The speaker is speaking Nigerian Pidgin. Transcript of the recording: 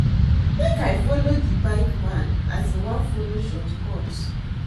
Make I folo di bike man as im wan folo shortcut.